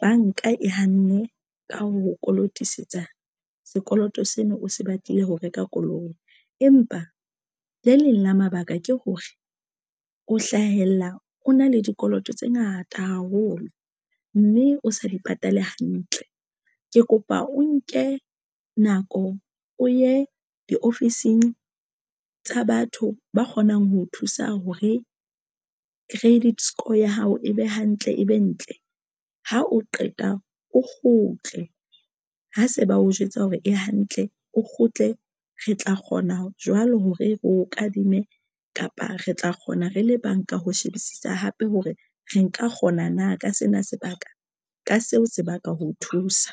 banka e hanne ka ho kolotisetsa sekoloto seno o se batlile ho reka koloi empa le leng la mabaka ke hore o hlahella o na le dikoloto tse ngata haholo mme o sa di patale hantle. Ke kopa o nke nako o ye di ofising tsa batho ba kgonang ho thusa hore credit score ya hao e be hantle, e be ntle. Ha o qeta o kgutle ha se ba o jwetsa hore e hantle o kgutle re tla kgona ho jwalo ho re re o kadime kapa re tla kgona re le banka ho shebisisa hape hore re nka kgona na ka sena sebaka ka seo se baka ho o thusa.